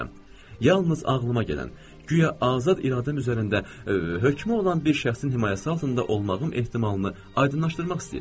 Yalnız ağlıma gələn, guya azad iradəm üzərində hökmü olan bir şəxsin himayəsi altında olmağım ehtimalını aydınlaşdırmaq istəyirəm.